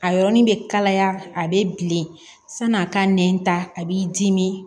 A yɔrɔnin bɛ kalaya a bɛ bilen san'a ka nɛn ta a b'i dimi